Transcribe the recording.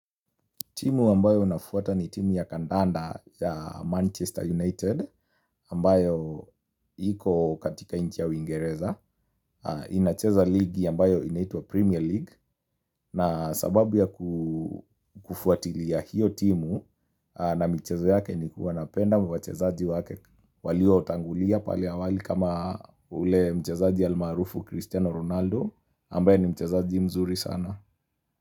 Timu ambayo unafuata ni timu ya kandanda ya Manchester United ambayo iko katika nchi ya wingereza. Inacheza ligi ambayo inaitwa Premier League na sababu ya kufuatilia hiyo timu na michezo yake ni kuwa napenda wachezaaji wake walioutangulia pale awali kama ule mchezaaji almarufu Cristiano Ronaldo ambayo ni mchezaaji mzuri sana.